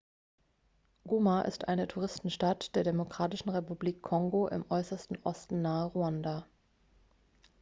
goma ist eine touristenstadt der demokratischen republik kongo im äußersten osten nahe ruanda